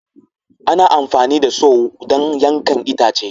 Ana amfani da Saw don yankan itace